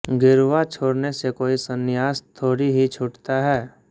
गेरुआ छोड़ने से कोई संन्यास थोड़े ही छूटता है